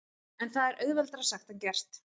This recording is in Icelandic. En það er auðveldara sagt en gert.